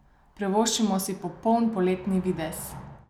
Privoščimo si popoln poletni videz!